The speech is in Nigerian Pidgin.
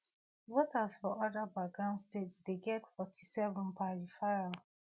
voters for oda battleground states dey get forty-seven per referral